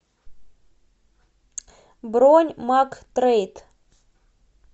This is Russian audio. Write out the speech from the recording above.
бронь мактрейд